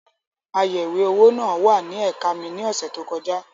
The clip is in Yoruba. Ayẹ̀wé-owó náà wà ní ẹ̀ka mi ní ọ̀sẹ̀ tó kọjá.